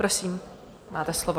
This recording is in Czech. Prosím, máte slovo.